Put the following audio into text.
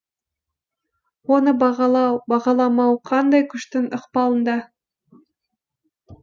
оны бағалау бағаламау қандай күштің ықпалында